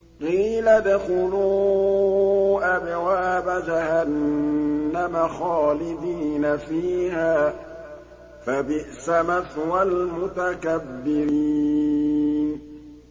قِيلَ ادْخُلُوا أَبْوَابَ جَهَنَّمَ خَالِدِينَ فِيهَا ۖ فَبِئْسَ مَثْوَى الْمُتَكَبِّرِينَ